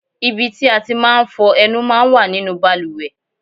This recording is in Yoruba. Ibi tí a ti máa ń fọ ẹnu máa ń wà nínú bàlùwẹ̀.